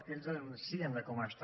que ells denuncien com està